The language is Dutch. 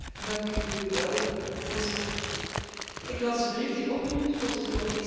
Voorzitter, ik las de brief die opriep tot het Europese waardeninstrument.